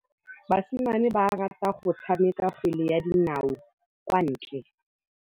Basimane ba rata go tshameka kgwele ya dinaô kwa ntle.